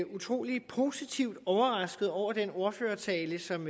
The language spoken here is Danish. utrolig positivt overrasket over den ordførertale som